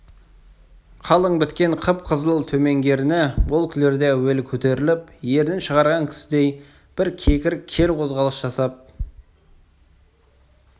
қалың біткен қып-қызыл төменгі ерні ол күлерде әуелі көтеріліп ернін шығарған кісідей бір кекір кер қозғалыс жасап содан